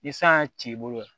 Ni san y'a ci i bolo yan